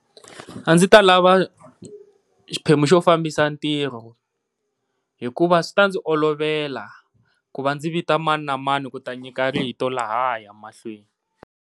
A ndzi ta lava xiphemu xo fambisa ntirho, hikuva swi ta ndzi olovela ku va ndzi vita maninamani ku ta nyika rito lahaya mahlweni.